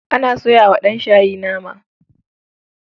Ana soya wa ɗanshayi nama.